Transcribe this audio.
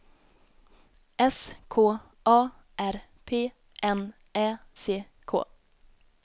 S K A R P N Ä C K